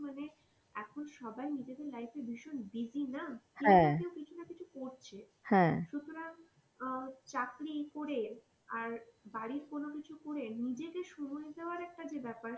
এখন সবাই নিজেদের life এ ভীষণ busy না কেউ কিছু না কিছু তো করছে সুতরাং আহ চাকরি করে আর বাড়ির কোনো কিছু করে নিজেকে সময় দেয়ার একটা যে ব্যাপার সেইটা আমাদের হয়ে উঠছে না.